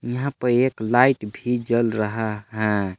यहां प एक लाइट भी जल रहा है।